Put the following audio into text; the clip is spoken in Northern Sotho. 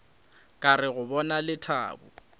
ka re go bona lethabo